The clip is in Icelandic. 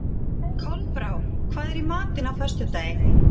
Kolbrá, hvað er í matinn á föstudaginn?